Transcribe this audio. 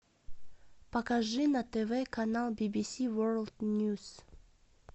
покажи на тв канал бибиси ворлд ньюс